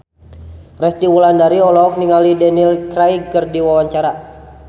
Resty Wulandari olohok ningali Daniel Craig keur diwawancara